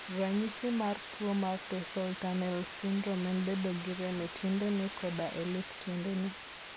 Ranyis mar tuwo mar tarsal tunnel syndrome en bedo gi rem e tiendene koda e lith tiendene.